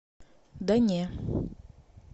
да не